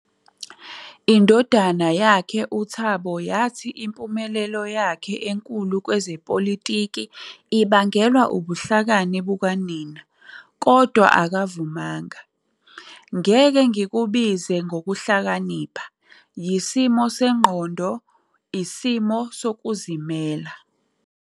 Indodana yakhe, uThabo, yathi impumelelo yakhe enkulu kwezepolitiki ibangelwa ubuhlakani bukanina, kodwa akavumanga, "Ngeke ngikubize ngokuhlakanipha, yisimo sengqondo, isimo sokuzimela."